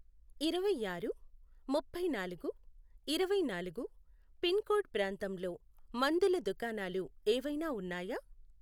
ఇరవైఆరు, ముప్పైనాలుగు, ఇరవైనాలుగు, pin code ప్రాంతంలో మందుల దుకాణాలు ఏవైనా ఉన్నాయా?